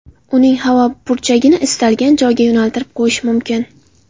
Uning havo purkagichini istalgan tomonga yo‘naltirib qo‘yish mumkin.